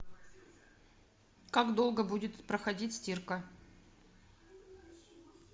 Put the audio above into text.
как долго будет проходить стирка